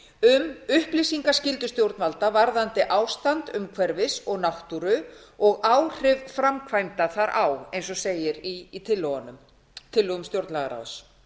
um upplýsingaskyldu stjórnvalda varðandi ástand umhverfis og náttúru og áhrif framkvæmda þar á eins og segir í tillögum stjórnlagaráðs